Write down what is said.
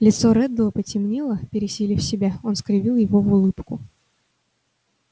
лицо реддла потемнело пересилив себя он скривил его в улыбку